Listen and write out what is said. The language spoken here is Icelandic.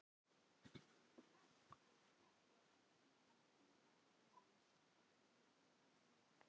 Ari gat ekki annað en skælt sig við myrkrinu.